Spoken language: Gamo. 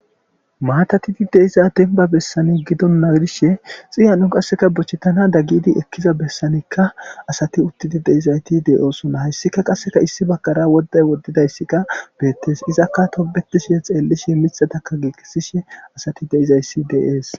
maatatidi deiza denba bessane gidon naagidishe xiyano qasseka bochchetana daggidi ekkiza bessanekka asati uttidi deizayti de7oosona hayssika qasseka issi bagkara woddey woddidayssikka beettes izakka tobetishe xeellishe mithataka giigesishe asati deizayssi deees